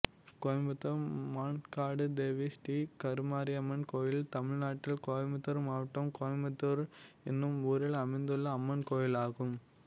கோயம்புத்தூர் மான்காடு தேவி ஸ்ரீ கருமாரியம்மன் கோயில் தமிழ்நாட்டில் கோயம்புத்தூர் மாவட்டம் கோயம்புத்தூர் என்னும் ஊரில் அமைந்துள்ள அம்மன் கோயிலாகும்